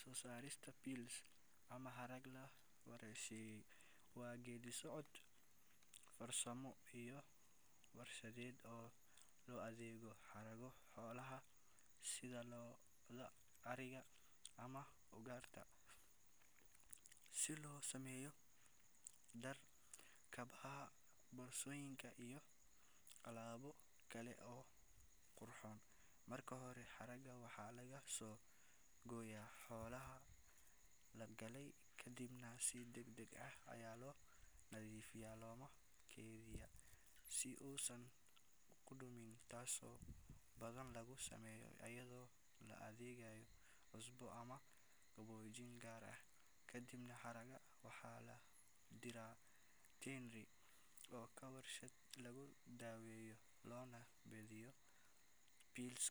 Soo saarista pels ama harag la warshadeeyay waa geedi socod farsamo iyo warshadeed oo loo adeegsado haragga xoolaha sida lo’da, ariga, ama ugaarta si loogu sameeyo dhar, kabaha, boorsooyin iyo alaabo kale oo qurxoon. Marka hore, haragga waxaa laga soo gooyaa xoolaha la qalay kadibna si degdeg ah ayaa loo nadiifiyaa loona keydiyaa si uusan u qudhmin, taasoo badanaa lagu sameeyo iyadoo la adeegsanayo cusbo ama qaboojiye gaar ah. Kadib, haragga waxaa loo diraa tannery oo ah warshad lagu daweeyo loona beddelo pelts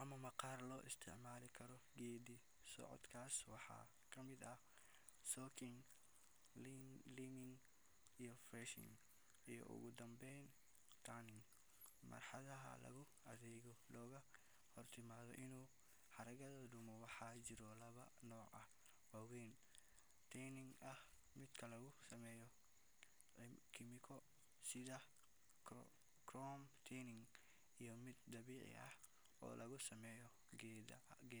ama maqaar la isticmaali karo. Geeddi-socodkaas waxaa ka mid ah soaking, liming, fleshing, iyo ugu dambeyn tanning oo ah marxaladda lagu adkeeyo loogana hortago inuu haragga dumo. Waxaa jira laba nooc oo waaweyn oo tanning ah: mid lagu sameeyo kiimiko sida chrome tanning, iyo mid dabiici ah oo laga sameeyo geedaha.